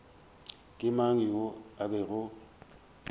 ke mang yoo a bego